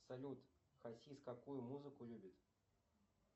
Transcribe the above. салют хасис какую музыку любит